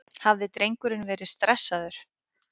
Hafði drengurinn verið stressaður?